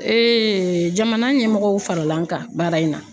jamana ɲɛmɔgɔw farala an kan baara in na